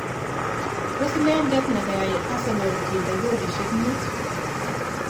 Tos inedet nekayai Arsenal kinde goalishek mut.